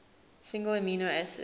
single amino acid